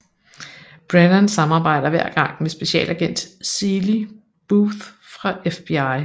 Brennan samarbejder hver gang med Specialagent Seeley Booth fra FBI